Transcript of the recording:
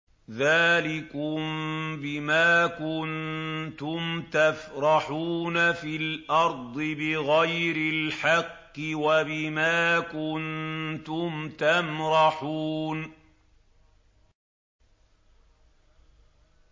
ذَٰلِكُم بِمَا كُنتُمْ تَفْرَحُونَ فِي الْأَرْضِ بِغَيْرِ الْحَقِّ وَبِمَا كُنتُمْ تَمْرَحُونَ